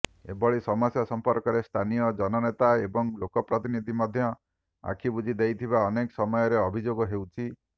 ଏଭଳି ସମସ୍ୟା ସଂପର୍କରେ ସ୍ଥାନୀୟ ଜନନେତା ଏବଂ ଲୋକପ୍ରତିନିଧି ମଧ୍ୟ ଆଖିବୁଜି ଦେଇଥିବା ଅନେକ ସମୟରେ ଅଭିଯୋଗ ହେଉଛି